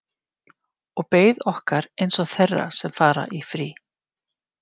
Og beið okkar einsog þeirra sem fara í frí.